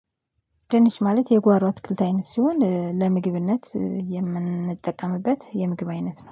ድንች ማለት የጓሮ አትክልት አይነት ሲሆን ለምግብነት የምንጠቀምበት የምግብ አይነት ነው